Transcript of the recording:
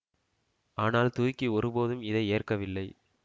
ஆனால் துருக்கி ஒரு போதும் இதை ஏற்கவில்லை